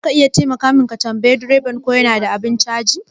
Zaka iya taimaka min ka tambayi direban ko yana da abun caji?